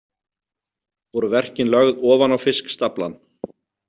Voru verkin lögð ofan á fiskstaflann.